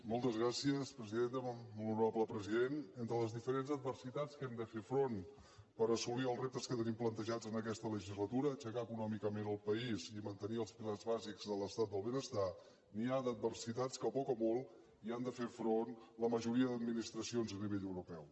molt honorable president entre les diferents adversitats a què hem de fer front per assolir els reptes que tenim plantejats en aquesta legislatura aixecar econòmicament el país i mantenir els pilars bàsics de l’estat del benestar n’hi ha d’adversitats a què poc o molt han de fer front la majoria d’administracions a nivell europeu